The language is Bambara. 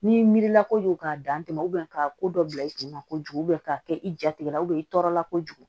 N'i mi mirila kojugu k'a dantɛmɛ u bɛn k'a ko dɔ bila i kunna kojugu ka kɛ i jatigɛ la i tɔɔrɔ la kojugu